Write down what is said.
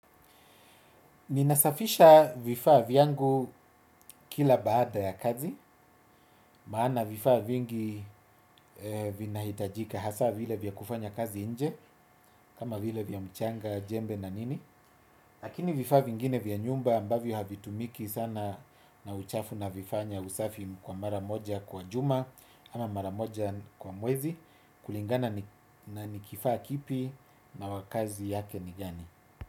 Ninasafisha vifaa vyangu kila baada ya kazi maana vifaa vingi vinahitajika hasaa vile vya kufanya kazi nje kama vile vya mchanga jembe na nini. Lakini vifaa vingine vya nyumba ambavyo havitumiki sana na uchafu navifanya usafi kwa mara moja kwa juma ama mara moja kwa mwezi kulingana na ni kifaa kipi na wakazi yake ni gani.